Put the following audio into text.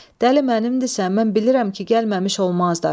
Dəli mənimdirsə, mən bilirəm ki, gəlməmiş olmazlar.